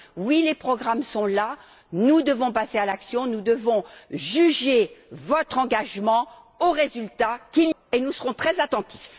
Oui, les programmes sont là, nous devons passer à l'action, nous devons juger votre engagement à l'aune des futurs résultats, et nous serons très attentifs.